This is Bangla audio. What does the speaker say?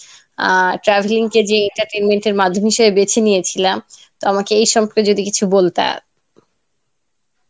আহ travelling কে যে entertenment এর মাধ্যম হিসাবে বেছে নিয়াছিলা তো আমাকে এই সম্পর্কে যদি কিছু বলতা